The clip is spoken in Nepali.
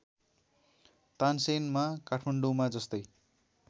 तानसेनमा काठमाडौँमा जस्तै